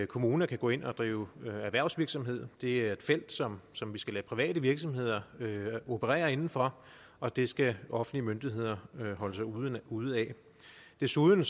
kommuner kan gå ind og drive erhvervsvirksomhed det er et felt som som vi skal lade private virksomheder operere inden for og det skal offentlige myndigheder holde sig ude ude af desuden